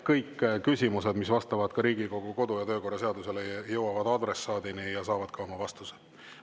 Kõik küsimused, mis vastavad Riigikogu kodu‑ ja töökorra seadusele, jõuavad adressaadini ja saavad ka vastuse.